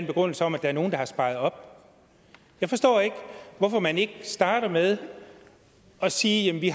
begrundelse om at der er nogle der har sparet op jeg forstår ikke at man ikke starter med at sige at vi